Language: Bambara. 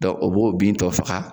o b'o bin tɔ faga.